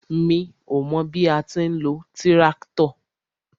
Mi ó mọ bí a ti ń lo tíráktọ̀.